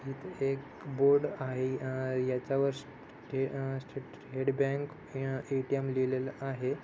इथे एक बोर्ड आहे अ याच्यावर अ स्टेट बँक अ ए-टी-एम लिहलेल आहे.